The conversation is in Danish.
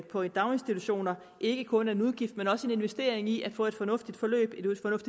på daginstitutioner ikke kun er en udgift men også en investering i at få et fornuftigt forløb